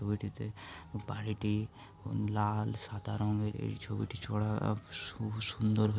ছবিটিতে বাড়িটি লাল সাদা রঙের এই ছবিটি ছাড়া সু- সুন্দরভাবে--